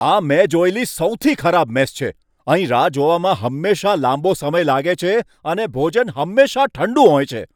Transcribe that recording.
આ મેં જોયેલી સૌથી ખરાબ મેસ છે. અહીં રાહ જોવામાં હંમેશાં લાંબો સમય લાગે છે અને ભોજન હંમેશા ઠંડુ હોય છે.